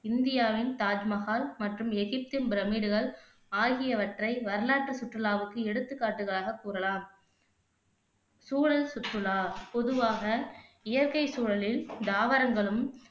இந்தியாவின் தாஜ் மஹால் மற்றும் எகிப்த்தின் பிரமிடுகள் ஆகியவற்றை வரலாற்று சுற்றுலாவுக்கு எடுத்துக்காட்டுகளாக கூறலாம் சூழல் சுற்றுலா பொதுவாக இயற்கை சூழலில் தாவரங்களும்